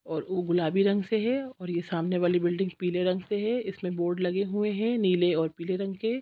और उ गुलाबी रंग से हैंऔर ये सामने वाली बिल्डिंग पीले रंग से हैं इसमे बोर्ड लगे हुए हैं नीले और पीले रंग से--